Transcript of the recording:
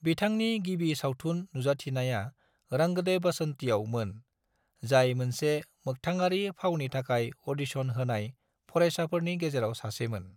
बिथांनि गिबि सावथुन नुजाथिनाया रंग दे बसंती आव मोन, जाय मोनसे मोखथाङारि फावनि थाखाय अदिसन होनाय फरायसाफोरनि गेजेराव सासे मोन।